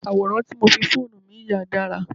Àwòrán tí mo fi fóònù mi yà dára.